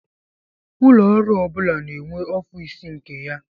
Ụlọ ọrụ ọbula na-enwe office nke ya.